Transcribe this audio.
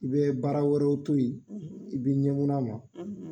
I bɛ baara wɛrɛw to ye i b'i ɲɛmun'a ma